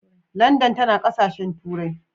Landan tana ƙasashen turai.